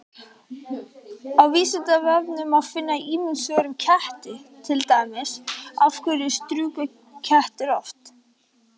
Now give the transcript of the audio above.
Á Vísindavefnum má finna ýmis svör um ketti, til dæmis: Af hverju strjúka kettir oft?